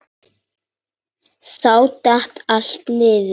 Þá datt allt niður.